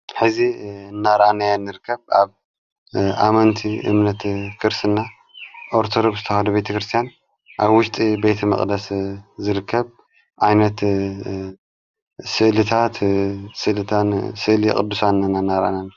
ሕዚ እናራንዮ ንርከብ ኣብ ኣመንቲ እምነት ክርስና ኦርተዶብስተውሃዶ ቤተ ክርስቲያን ኣብ ውሽጢ ቤቲ መቕደስ ዘርከብ ኣይነት ሥእልታት ስእሊ ቕዱሳና ናራአና ንርከብ።